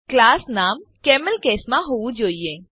class નામ camel case માં હોવું જોઈએ